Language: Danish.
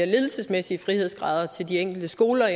ledelsesmæssige frihedsgrader til de enkelte skoler